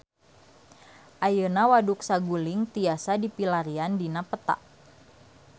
Ayeuna Waduk Saguling tiasa dipilarian dina peta